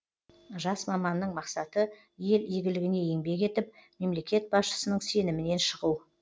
жас маманның мақсаты ел игілігіне еңбек етіп мемлекет басшысының сенімінен шығу